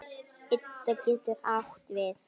Ida getur átt við